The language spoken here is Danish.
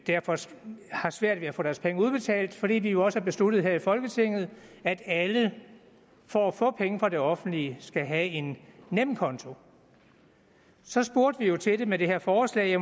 derfor har svært ved at få deres penge udbetalt fordi vi jo også har besluttet her i folketinget at alle for at få penge fra det offentlige skal have en nemkonto så spurgte vi jo til det med det her forslag